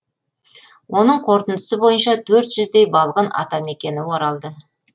оның қорытындысы бойынша төрт жүздей балғын атамекеніне оралды